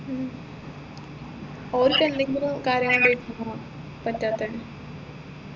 ഉം ഓർക്കെന്തെങ്കിലും കാര്യം കൊണ്ടെരിക്കും പറ്റാതെ